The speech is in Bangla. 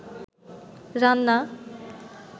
রান্না